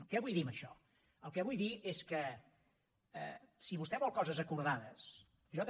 què vull dir amb això el que vull dir és que si vostè vol coses acordades jo també